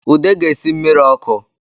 Ude ga-esi mmiri ọkụ